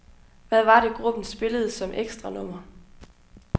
Hvad var det, gruppen spillede som ekstranummer.